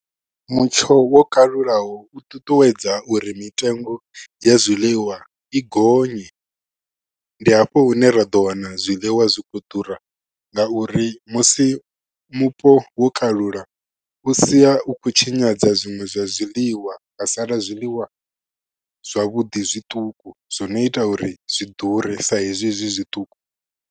Mutsho wo kalulaho u ṱuṱuwedza uri mitengo ya zwiḽiwa i gonye ndi hafho hune ra ḓo wana zwiḽiwa zwi kho ḓura ngauri musi mupo wo kalula u sia u khou tshinyadza zwiṅwe zwa zwiḽiwa ha sala zwiḽiwa zwavhuḓi zwiṱuku zwi no ita uri zwi ḓure sa hezwi zwi zwiṱuku.